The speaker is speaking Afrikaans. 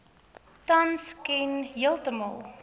tans ken heeltemal